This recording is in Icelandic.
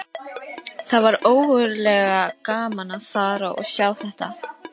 Hann kom hikandi upp úr henni.